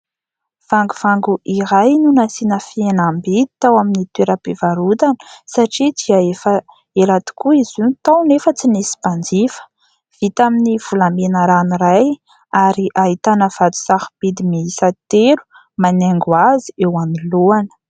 Vangovango iray no nasiana fihenam-bidy tao amin'ny toeram-pivarotana satria dia efa ela tokoa izy io no tao nefa tsy nisy mpanjifa. Vita amin'ny volamena ranoray, ary ahitana vato sarobidy miisa telo manaingo azy eo amin'ny lohany.